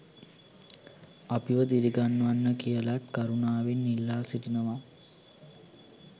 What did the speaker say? අපිව දිරිගන්වන්න කියලත් කරුණාවෙන් ඉල්ලා සිටිනවා